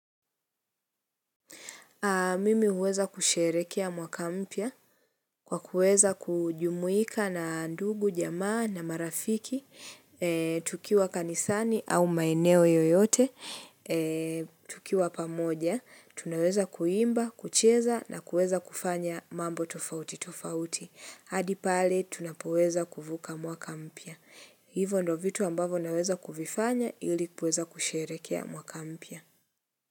Mimi huweza kusherekea mwaka mpya kwa kuweza kujumuika na ndugu, jamaa na marafiki, tukiwa kanisani au maeneo yoyote, tukiwa pamoja, tunaweza kuimba, kucheza na kuweza kufanya mambo tofauti tofauti. Hadi pale, tunapoweza kuvuka mwaka mpya. Hivo ndo vitu ambavyo naweza kuvifanya ili kuweza kusherehekea mwaka mpya.